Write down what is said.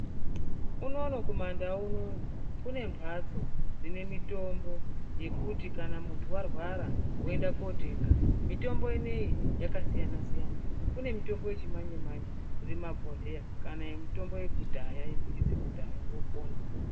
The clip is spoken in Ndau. Unono kumandau unono kune mhatso dzine mitombo yekuti kana muntu varwara voenda kotenga. Mitombo inoiyi yakasiyana-siyana kune mitombo yechimanje-manje iri mumabhodhleya. Kana yemutombo yekudhaya idzi dzekudhaya vopona.